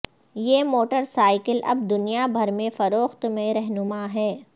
یہ motor cycle اب دنیا بھر میں فروخت میں رہنما ہے